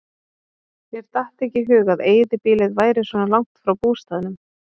Mér datt ekki í hug að eyðibýlið væri svona langt frá bústaðnum.